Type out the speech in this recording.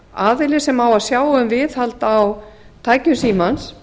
aðili sem á að sjá um viðhald á tækjum símans